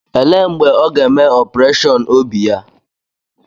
Elee mgbe ọ ga-eme opureshọn obi ya.